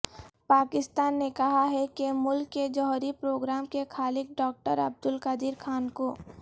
پاکستان نے کہا ہے کہ ملک کے جوہری پروگرام کے خالق ڈاکٹر عبدلقدیر خان کو